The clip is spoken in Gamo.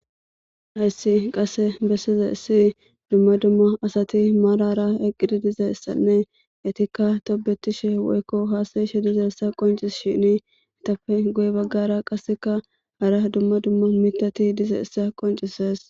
Hayssi qasse bessizayssi dumma dumma asati maaran eqqidi dizayssanne etikka tobbetishin woykko haasayishe dizayssa qonccises. Etappe guye baggara hara dumma dumma miththati dizayssa qonccisees.